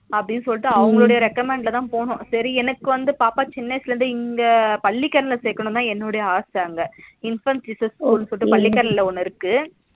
அப்டினு சொல்லிட்டு அவங்களோட recommend லதா போனோம் சரி எனக்கு வந்து பாப்பாக்கு சின்ன வயசுல இங்க பள்ளிகரணை சேர்க்கணும்னு என்னுடைய ஆசை அங்க infant jesus னு சொல்லிட்டு பள்ளிகரனைல ஒன்னு இருக்கு